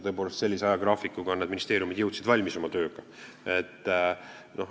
Tõepoolest, sellise ajagraafiku alusel jõudsid ministeeriumid oma tööga valmis.